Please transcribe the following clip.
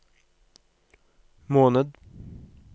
måned